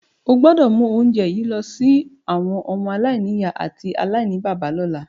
O gbọ́dọ̀ mu ounje yi lọ si àwọn ọmọ-aláìnìyá àti aláìníbàbá lọ́la.